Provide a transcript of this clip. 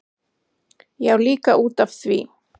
Já, líka út af því.